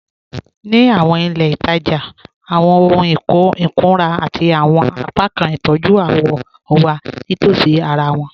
Ní àwọn ilẹ̀-itaja, àwọn òhùn ìkùnrà àti àwọn apákan ìtọ́jú àwọ̀ wà nítòsí àrà wọn.